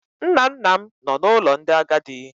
Nna nna m nọ na ụlọ ndị agadi.